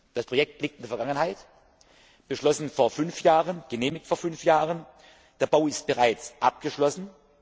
Das Projekt liegt in der Vergangenheit, beschlossen vor 5 Jahren, genehmigt vor 5 Jahren, der Bau ist bereits abgeschlossen.